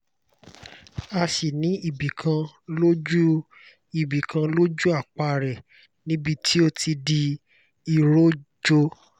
a sì ní ibi kan lójú ibi kan lójú àpá rẹ̀ níbi tí ó ti di iròjò